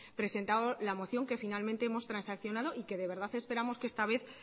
presentado la moción que finalmente hemos transaccionado y que de verdad esperamos que esta vez